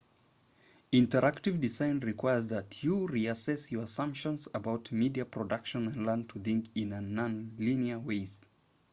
interactive design requires that you re-assess your assumptions about media production and learn to think in a non-linear ways